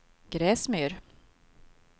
Gräsmyr